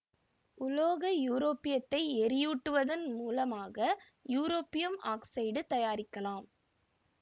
உலோக யூரோபியத்தை எரியூட்டுவதன் முலமாக யூரோபியம் ஆக்சைடு தயாரிக்கலாம்